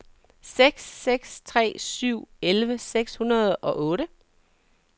seks seks tre syv elleve seks hundrede og otte